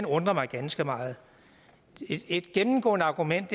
undrer mig ganske meget et gennemgående argument